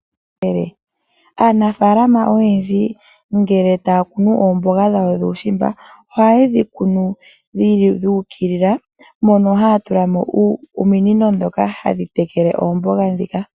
Aanafaalama oyendji ngele taya kunu oomboga dhawo dhuushimba, ohaye dhi kunu dhu ukilila, mono haya tula mo ominino ndhoka hadhi tekele oomboga ndhika.